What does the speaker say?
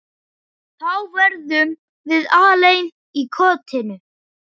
Þá verðum við alein í kotinu.